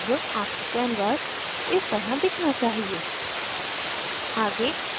अब आपका canvas इस तरह दिखना चाहिए